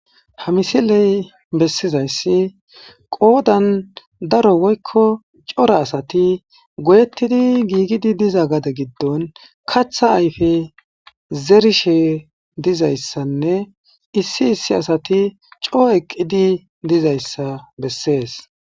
Haa missileyi bessizayissi qodanni daro woyikko cora asati goyettida gigid diza gade giddonni kaththa ayiffe zeerishshe dizayissanne issi issi asati coo eqqidi dizayissa besses.